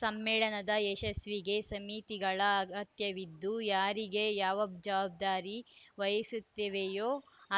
ಸಮ್ಮೇಳನದ ಯಶಸ್ವಿಗೆ ಸಮಿತಿಗಳ ಅಗತ್ಯವಿದ್ದು ಯಾರಿಗೆ ಯಾವ ಜವಾಬ್ದಾರಿ ವಹಿಸುತ್ತೇವೆಯೋ